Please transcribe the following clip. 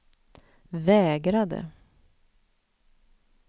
vägrade